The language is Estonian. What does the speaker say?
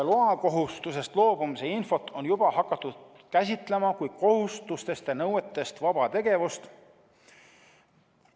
Loakohustusest loobumise infot on juba hakatud käsitlema kui kohustustest ja nõuetest vaba tegevust.